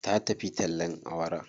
Ta tafi tallen awara.